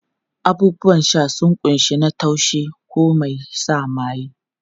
Abubuwan sha sun kunshi na taushi ko mai sa maye.